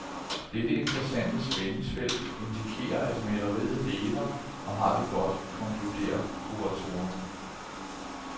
Dette interessante spændingsfelt indikerer, at maleriet lever og har det godt, konkluderer kuratorerne.